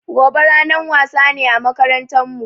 Gobe ranan wasa ne a makarantan mu